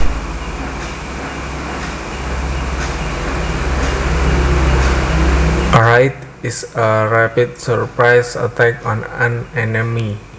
A raid is a rapid surprise attack on an enemy